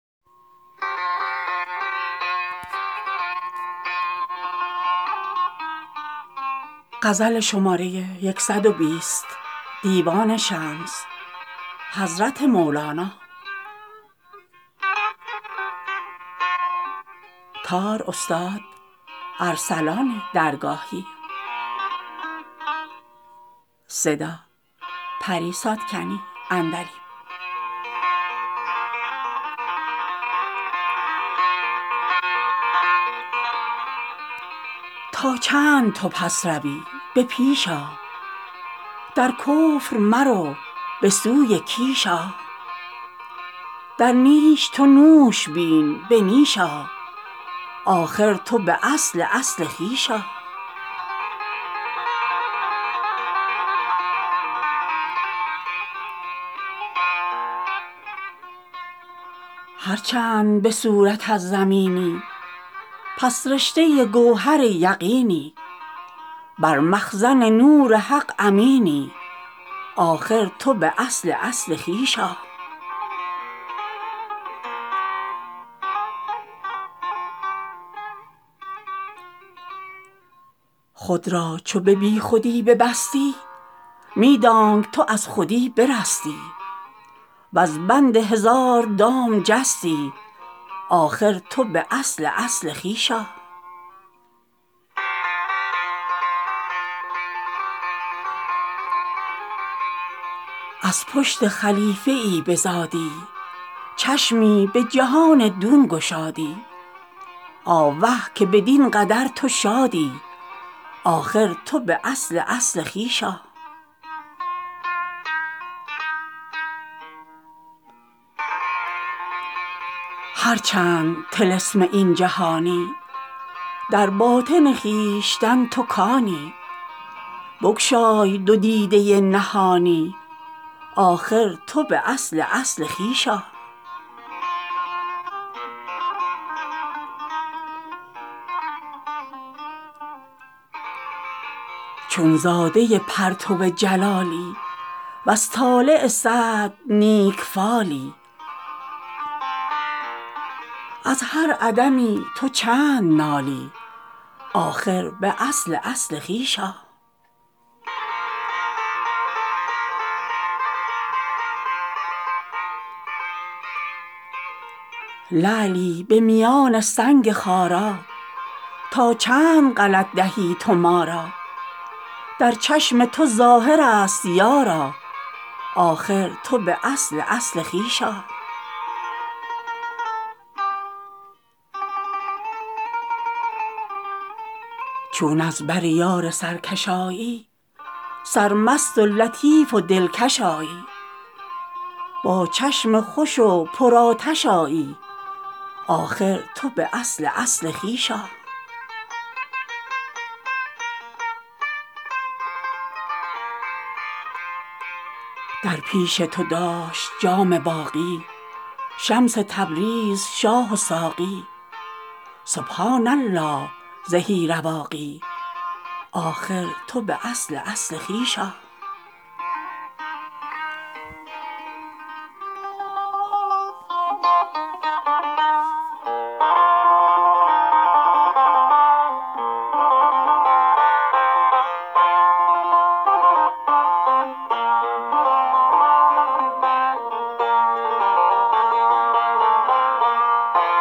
تا چند تو پس روی به پیش آ در کفر مرو به سوی کیش آ در نیش تو نوش بین به نیش آ آخر تو به اصل اصل خویش آ هر چند به صورت از زمینی پس رشته گوهر یقینی بر مخزن نور حق امینی آخر تو به اصل اصل خویش آ خود را چو به بی خودی ببستی می دانک تو از خودی برستی وز بند هزار دام جستی آخر تو به اصل اصل خویش آ از پشت خلیفه ای بزادی چشمی به جهان دون گشادی آوه که بدین قدر تو شادی آخر تو به اصل اصل خویش آ هر چند طلسم این جهانی در باطن خویشتن تو کانی بگشای دو دیده نهانی آخر تو به اصل اصل خویش آ چون زاده پرتو جلالی وز طالع سعد نیک فالی از هر عدمی تو چند نالی آخر تو به اصل اصل خویش آ لعلی به میان سنگ خارا تا چند غلط دهی تو ما را در چشم تو ظاهر ست یارا آخر تو به اصل اصل خویش آ چون از بر یار سرکش آیی سرمست و لطیف و دلکش آیی با چشم خوش و پر آتش آیی آخر تو به اصل اصل خویش آ در پیش تو داشت جام باقی شمس تبریز شاه و ساقی سبحان الله زهی رواقی آخر تو به اصل اصل خویش آ